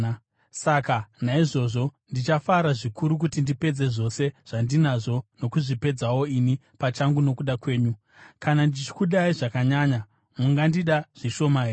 Saka naizvozvo ndichafara zvikuru kuti ndipedze zvose zvandinazvo nokuzvipedzawo ini pachangu nokuda kwenyu. Kana ndichikudai zvakanyanya, mungandida zvishoma here?